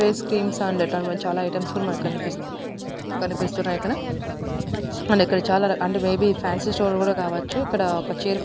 Face creams and ఇట్లాంటి మంచి చాలా ఐటమ్స్ కూడా మనకు కనిపిస్త్ కనిపిస్తున్నాయి. అక్కడ అండ్ ఇక్కడ and may be fancy store కూడా కావొచ్చు ఇక్కడ ఒక చైర్ --